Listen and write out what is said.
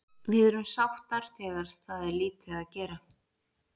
Við erum sáttar þegar það er lítið gera.